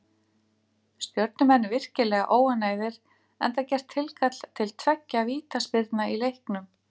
Stjörnumenn virkilega óánægðir enda gert tilkall til tveggja vítaspyrna í leiknum.